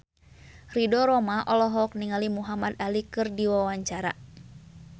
Ridho Roma olohok ningali Muhamad Ali keur diwawancara